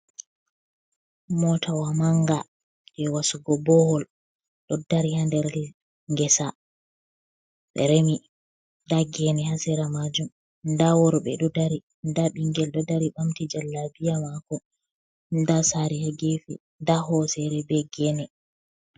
Mootawa mannga je wasugo boohwol ɗo dari haa nder ngesa, ɓe remi nda geene haa sera maajum, nda worɓe ɗo dari, nda ɓinngel eo dari ɓamti jallabiya maako, nda saare haa geefe, nda hooseere be geene.